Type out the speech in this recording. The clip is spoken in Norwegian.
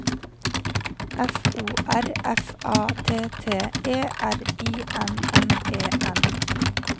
F O R F A T T E R I N N E N